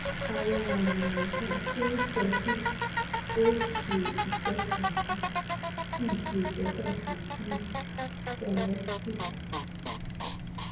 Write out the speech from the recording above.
awọn aami aisan ti o n sọ pe o ṣe itọkasi si ṣe itọkasi si sinusitis